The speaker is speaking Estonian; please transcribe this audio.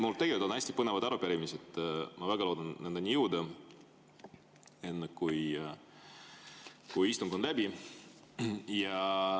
Mul tegelikult on hästi põnevad arupärimised ja ma väga loodan nendeni jõuda enne, kui istung on läbi.